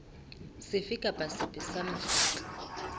sefe kapa sefe sa mokgatlo